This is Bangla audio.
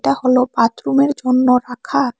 এটা হলো বাথরুমের জন্য রাখা।